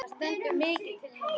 Það stendur mikið til núna.